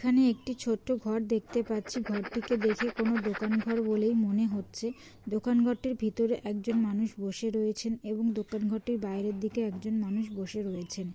এখানে একটি ছোট ঘর দেখতে পাচ্ছি ঘরটিকে দেখে কোন দোকান ঘর বলেই মনে হচ্ছে । দোকান ঘরটার ভিতর একজন মানুষ বসে রয়েছেন এবং দোকান ঘরটার বাইরের দিকে একজন মানুষ বসে রয়েছেন।